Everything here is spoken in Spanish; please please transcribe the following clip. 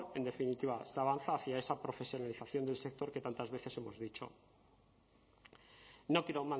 en definitiva se avanza hacia esa profesionalización del sector que tantas veces hemos dicho no quiero